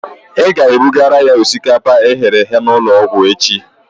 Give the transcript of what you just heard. Ị ga-ebugara ya osikapa eghere eghe n'ụlọ ọgwụ echi